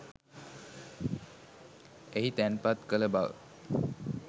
එහි තැන්පත් කළ බව